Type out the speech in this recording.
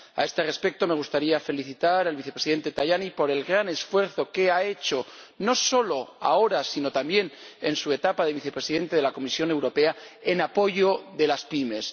A este respecto, me gustaría felicitar al Vicepresidente Tajani por el gran esfuerzo que ha hecho —no solo ahora, sino también en su etapa de Vicepresidente de la Comisión Europea— en apoyo de las pymes.